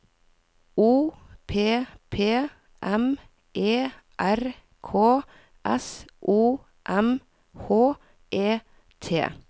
O P P M E R K S O M H E T